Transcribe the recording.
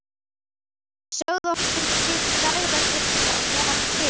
Sögð okkur til dægrastyttingar meðan við biðum.